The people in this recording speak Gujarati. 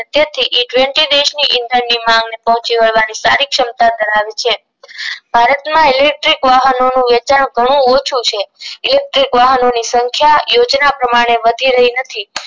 જેથી દેશની ઇધન ની માંગ ને પોહચી વળવાની સારી ક્ષમતા ધરાવે છે ભારત માં ઇલેક્ટ્રિક વાહનોનું વેચાણ ઘણું ઓછું છે ઇલેક્ટ્રિક વાહનોની સંખ્યા યોજના પ્રમાણે વધી રહી નથી